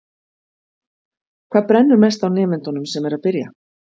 Þóra: Hvað brennur mest á nemendunum sem eru að byrja?